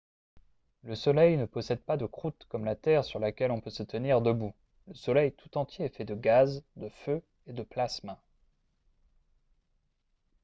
le soleil ne possède pas de croûte comme la terre sur laquelle on peut se tenir debout le soleil tout entier est fait de gaz de feu et de plasma